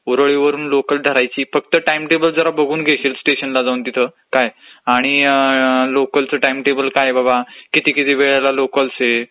ऊरळीवरून local धरायची, फक्त timetable जरा बघून घेशील स्टेशनला जाऊन तिथं काय, आणि लोकलचं टाइमटेबल बघून ठेव बाबा, किती किती वेळा लोकलस् आहेत,